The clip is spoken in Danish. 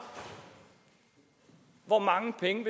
hvor mange penge